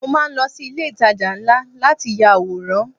Mo máa ń lọ sí ilé ìtajà ńlá láti ya àwòrán.